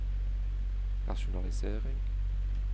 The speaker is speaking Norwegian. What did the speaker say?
rasjonalisering